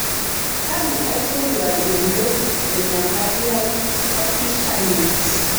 Kanu aiterua ayiolou enyamali ai olkishamiet?